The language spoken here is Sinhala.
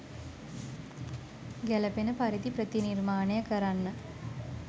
ගැළපෙන පරිදි ප්‍රතිනිර්මාණය කරන්න